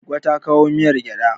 Goggo ta kowa miyar gyaɗa.